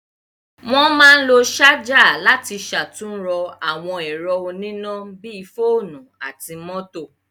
Wọ́n máa ń lo ṣájà láti ṣàtúnrọ àwọn ẹ̀rọ oníná bí i fóònú àti mọ́tò.